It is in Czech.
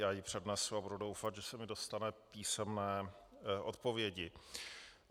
Já ji přednesu a budu doufat, že se mi dostane písemné odpovědi.